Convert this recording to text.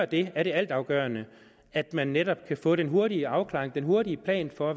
det er det altafgørende at man netop før kan få den hurtige afklaring og den hurtige plan for